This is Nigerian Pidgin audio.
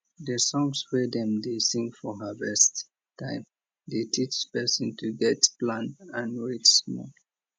the songs wey dem dey sing for harvest time dey teach person to get plan and wait small